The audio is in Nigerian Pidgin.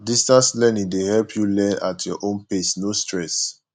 distance learning dey help you learn at your own pace no stress